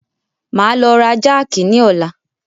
Máa lọ ra jákì ni ọ̀la.